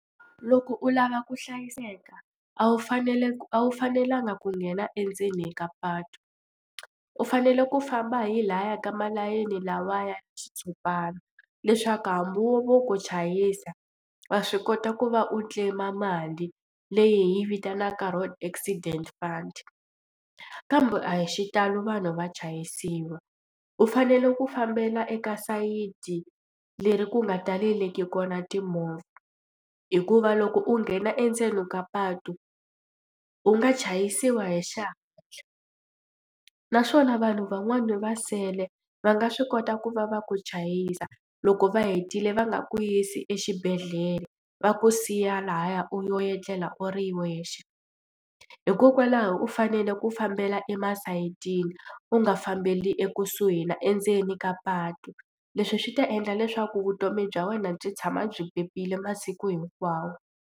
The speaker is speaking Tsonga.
Loko u lava ku hlayiseka a wu faneleku a wu fanelanga ku nghena endzeni ka patu u fanele ku famba hi lahaya ka maleyini lawaya xitshopana leswaku hambi wo vo ku chayisa wa swi kota ku va u claim-a mali leyi vitanaka road accident fund kambe a hi xitalo vanhu va chayisiwa. U fanele ku fambela eka sayiti leri ku nga taleleki kona timovha hikuva loko u nghena endzeni ka patu u nga chayisiwa hi xihatla naswona vanhu van'wani va nsele va nga swi kota ku va va ku chayisa loko va hetile va nga ku yisi exibedhlele va ku siya lahaya u yo etlela u ri wexe hikokwalaho u fanele ku fambele masayitini u nga fambeli ekusuhi na endzeni ka patu. Leswi swi ta endla leswaku vutomi bya wena byi tshama byi pepile masiku hinkwawo.